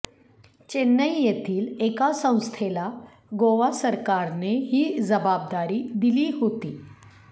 चेन्नई येथील एका संस्थेला गोवा सरकारने ही जबाबदारी दिली होती